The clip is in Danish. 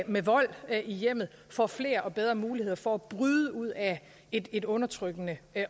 med vold i hjemmet får flere og bedre muligheder for at bryde ud af et et undertrykkende